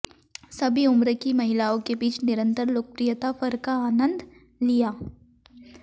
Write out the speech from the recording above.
सभी उम्र की महिलाओं के बीच निरंतर लोकप्रियता फर का आनंद लिया